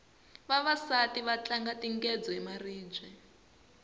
vavasati va tlanga tingedzo hi maribye